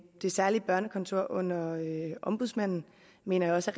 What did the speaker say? det særlige børnekontor under ombudsmanden mener jeg også